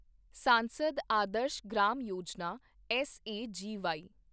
ਸਾਂਸਦ ਆਦਰਸ਼ ਗ੍ਰਾਮ ਯੋਜਨਾ ਐੱਸਏਜੀਵਾਈ